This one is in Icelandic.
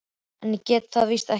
En ég get það víst ekki.